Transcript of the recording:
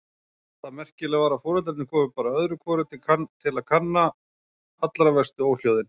Það merkilega var að foreldrarnir komu bara öðru hvoru til kanna allra verstu óhljóðin.